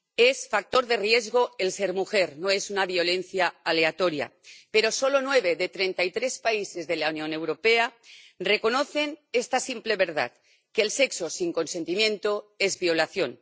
Es factor de riesgo el ser mujer, no es una violencia aleatoria, pero solo nueve de treinta y tres países de la Unión Europea reconocen esta simple verdad que el sexo sin consentimiento es violación.